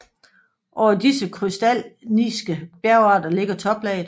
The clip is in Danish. Over disse krystallinske bjergarter ligger toplaget